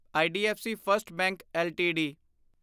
IDFC first bank LTD